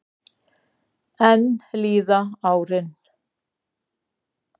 Enn líða árin.